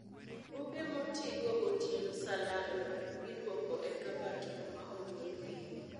Buge moti go gotieno sa lalruok, iduoko e kabat kuma ogolgie